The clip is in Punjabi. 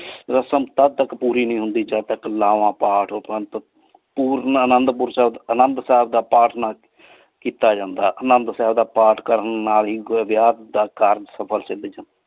ਰਸਮ ਤਦ ਤਕ ਪੋਰੀ ਨਹੀ ਹੁੰਦੀ ਜਦ ਤਕ ਲਾਵਾਂ ਪਹਰੋਂ ਪੁਰ ਅਨੰਦੁ ਪੁਰ ਸਾਹਿਬ ਅਨੰਦੁ ਸਾਹਿਬ ਦਾ ਪਰਤ ਨਾ ਨਾ ਕੀਤਾ ਜਾਂਦਾ ਅਨੰਦੁ ਸਾਹਿਬ ਦਾ ਪਰਤ ਕਰਨ ਨਾਲ ਆਇਕ ਵਿਯਾਹ ਦਾ ਕਰਨ ਸਫਲ ਹੁੰਦਾ।